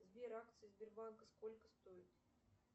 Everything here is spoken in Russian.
сбер акции сбербанка сколько стоят